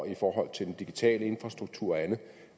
i forhold til den digitale infrastruktur og andet